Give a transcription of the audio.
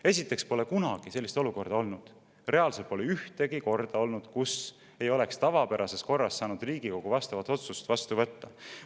Esiteks pole kunagi sellist olukorda olnud, reaalselt pole ühtegi korda olnud, kus ei oleks tavapärases korras saanud Riigikogu vastavat otsust vastu võtta.